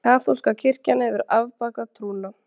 Kaþólska kirkjan hefur afbakað trúna.